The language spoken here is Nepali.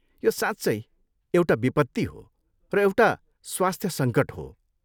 यो साँच्चै एउटा विपत्ति हो र एउटा स्वास्थ्य सङ्कट हो।